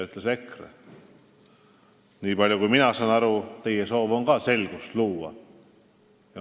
Niipalju, kui mina aru saan, teie soov on ka selgust luua.